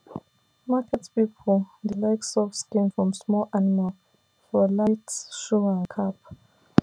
market people people dey like soft skin from small animal for light shoe and cap